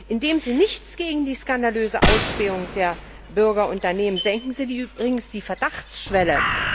Indem Sie nichts gegen die skandalöse Ausspähung der Bürger unternehmen, senken Sie übrigens die Verdachtsschwelle.